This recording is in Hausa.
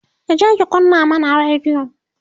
kije ki kunna mana radiyo!